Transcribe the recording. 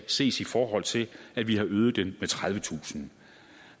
ses i forhold til at vi har øget den med tredivetusind